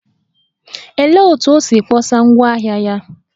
Olee otú o si kpọsa ngwá ahịa ya?